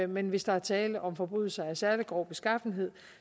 men hvis der er tale om forbrydelser af særlig grov beskaffenhed